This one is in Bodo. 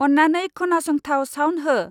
अन्नानै खोनांसंथाव साउन्ड हो।